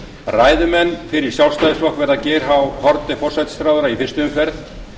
ræðumenn fyrir sjálfstæðisflokk verða geir h haarde forsætisráðherra í fyrstu umferð